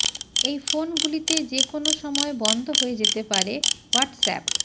এই ফোনগুলিতে যে কোনো সময় বন্ধ হয়ে যেতে পারে হোয়াটসঅ্যাপ